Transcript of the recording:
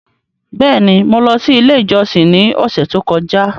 Bẹẹni, Mo lọ si ile ijọsin ni ọsẹ to kọja